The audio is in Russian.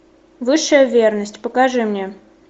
высшая верность покажи мне